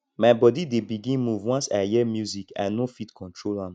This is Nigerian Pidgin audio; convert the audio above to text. my bodi dey begin move once i hear music i no fit control am